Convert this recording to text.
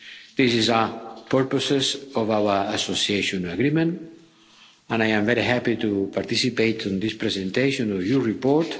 This is the purpose of our association agreement, and I am very happy to participate in this presentation of your report.